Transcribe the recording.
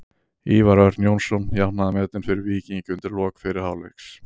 Ívar Örn Jónsson jafnaði metin fyrir Víking undir lok fyrri hálfleiks.